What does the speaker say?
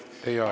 Teie aeg!